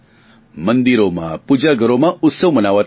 મંદિરોમાં પૂજાઘરોમાં ઉત્સવ મનાવાતા હશે